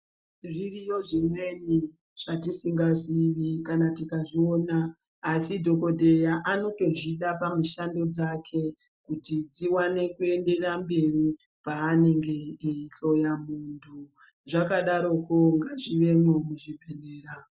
Zviriyo zvimweni zvatisingazivi kana tikazviona asi dhokoteya anotozvida pamushando dzake kuti dziwane kuenderera mberi panenge eihloya muntu zvakadaroko ngazvivemwo muzvibhedhlera.